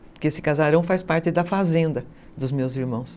Porque esse casarão faz parte da fazenda dos meus irmãos.